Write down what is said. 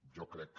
jo crec que